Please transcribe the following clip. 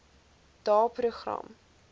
daeprogram